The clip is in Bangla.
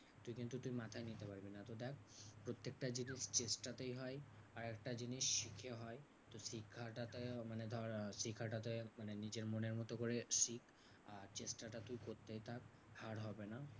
তুই কিন্তু তুই মাথায় নিতে পারবি না। দেখ প্রত্যেকটা জিনিস চেষ্টাতেই হয় আর একটা জিনিস শিখে হয়। তো শিক্ষাটাতে মানে ধর আহ শেখাটাতে নিজের মনের মতো করে শিখ। আর চেষ্টাটা তুই করতেই থাক হার হবে না।